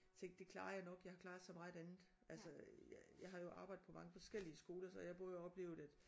Tænkt det klarer jeg nok jeg har klaret så meget andet altså jeg har jo arbejdet på mange forskellige skoler så jeg har både oplevet at